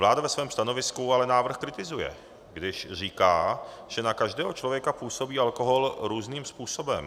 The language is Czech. Vláda ve svém stanovisku ale návrh kritizuje, když říká, že na každého člověka působí alkohol různým způsobem.